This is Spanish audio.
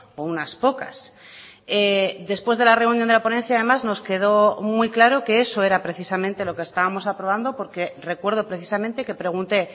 o unas pocas después de la reunión de la ponencia además nos quedó muy claro que eso era precisamente lo que estábamos aprobando porque recuerdo precisamente que pregunté